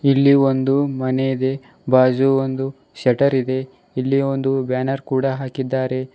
ಇಲ್ಲಿ ಒಂದು ಮನೆ ಇದೆ ಬಾಜು ಒಂದು ಶಟರ ಇದೆ ಇಲ್ಲಿ ಒಂದು ಬ್ಯಾನರ ಕೂಡ ಹಾಕಿದ್ದಾರೆ.